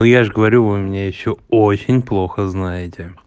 я же говорю вы меня ещё очень плохо знает